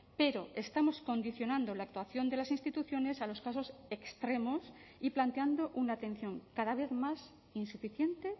pero estamos condicionando la actuación de las instituciones a los casos extremos y planteando una atención cada vez más insuficiente